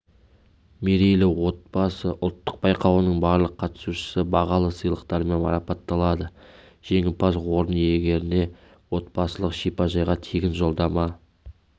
мерейлі отбасы ұлттық байқауының барлық қатысушысы бағалы сыйлықтармен марапатталды жеңімпаз орын иегеріне отбасылық шипажайға тегін жолдама